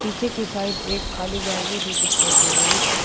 पीछे की साइड एक खाली गैलरी भी दिखाई दे रही है।